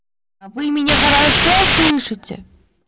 вы меня хорошо слышите